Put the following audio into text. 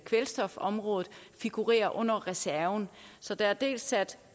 kvælstofområdet figurerer under reserven så der er dels sat